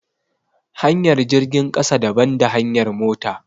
Hanyar jirgin ƙasa daban da hanyar mota